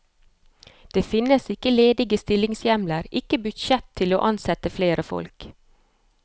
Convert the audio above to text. Det finnes ikke ledige stillingshjemler, ikke budsjett til å ansette flere folk.